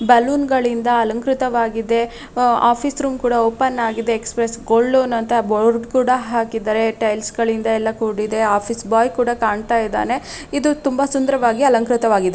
Balloon ಗಳಿಂದ ಅಲಂಕೃತವಾಗಿದೆ ಆಹ್ಹ್ ಆಫೀಸ್ ರೂಮ್ ಕೂಡ ಓಪನ್ ಆಗಿದೆ ಎಕ್ಸ್ಪ್ರೆಸ್ ಗೋಲ್ಡ್ ಲೋನ್ ಅಂತ ಬೋರ್ಡ್ ಕೂಡ ಹಾಕಿದ್ದಾರೆ ಟೈಲ್ಸ್ಗ ಳಿಂದ ಎಲ್ಲ ಕೂಡಿದೆ ಆಫೀಸ್ ಬಾಯ್ ಕೂಡ ಕಾಣ್ತಾ ಇದಾನೆ ಇದು ತುಂಬಾ ಸುಂದರವಾಗಿ ಅಲಂಕೃತವಾಗಿದೆ.